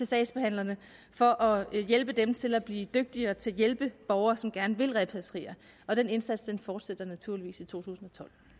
sagsbehandlerne for at hjælpe dem til at blive dygtigere til at hjælpe borgere som gerne vil repatrieres den indsats fortsætter naturligvis i totusinde